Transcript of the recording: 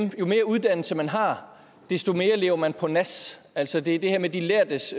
jo mere uddannelse man har desto mere lever man på nas altså det er det her med de lærdes